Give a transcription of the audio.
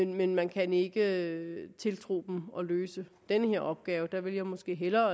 men man kan ikke tiltro dem at løse den her opgave der ville jeg måske hellere